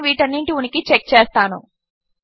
నేను వీటన్నింటి ఉనికి చెక్ చేస్తాను